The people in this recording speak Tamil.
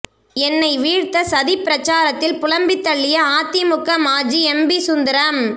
என்னை வீழ்த்த சதி பிரசாரத்தில் புலம்பித்தள்ளிய அதிமுக மாஜி எம்பி சுந்தரம்